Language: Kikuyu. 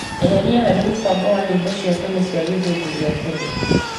Eheria harĩ mũbango wa nyĩmbo cia tene cia gĩthũngũ gĩa tene.